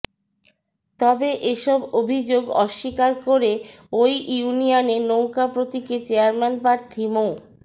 তবে এসব অভিযোগ অস্বীকার করে ওই ইউনিয়নে নৌকা প্রতীকে চেয়ারম্যান প্রার্থী মো